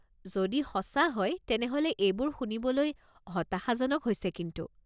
যদি সঁচা হয় তেনেহ'লে এইবোৰ শুনিবলৈ হতাশাজনক হৈছে কিন্তু।